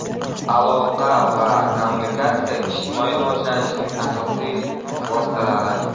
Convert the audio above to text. Aloqa va kommunikatsiya ijtimoiy rivojlanishning asosiy vositalari.